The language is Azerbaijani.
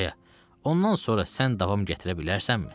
Aya, ondan sonra sən davam gətirə bilərsənmi?